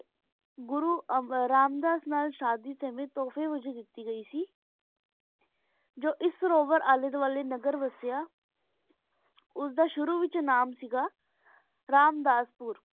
ਘੁਰੁ ਰਾਮ ਦਸ ਨਾਲ ਸ਼ਾਦੀ ਵੇਚ ਤੁਫ੍ਯ ਵੇਚ ਦੇਤੀ ਗੀ ਸੇ ਜੋ ਇਸ ਡੀ ਅਲੀ ਦੁਆਲ੍ਯ ਨਾਗ੍ਹਰ ਵੇਸੇਯਾ ਉਸਦਾ ਸ਼ੁਰੂ ਵੇਚ ਨਾਮੇ ਸੇ ਗਾ ਰਾਮਦਾਸ ਪੁਰ